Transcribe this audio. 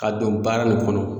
Ka don baara nin kɔnɔ